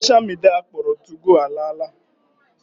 Sosha midia akpọrọ 2go ala ala.